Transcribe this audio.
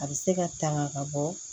A bɛ se ka tanga ka bɔ